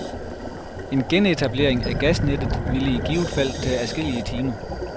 En genetablering af gasnettet ville i givet fald tage adskillige timer.